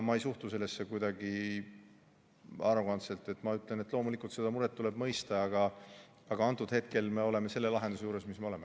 Ma ei suhtu sellesse kuidagi arrogantselt ja ma ütlen, et loomulikult seda muret tuleb mõista, aga antud hetkel me oleme selle lahenduse juures, kus me oleme.